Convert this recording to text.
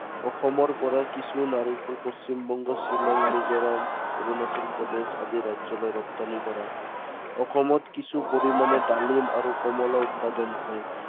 অসমৰ পৰা কিছু নাৰিকল পশ্চিমবংগ, শ্বিলং, মিজোৰাম, অৰুণাচল প্ৰদেশ আদি ৰাজ্য়লৈ ৰপ্তানি কৰা হয়। অসমত কিছু পৰিমানে ডালিম আৰু কমলা উৎপাদন হয়।